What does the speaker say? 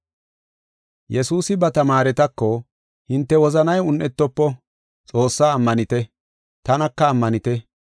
Yesuusi ba tamaaretako, “Hinte wozanay un7etofo, Xoossaa ammanite, tanaka ammanite.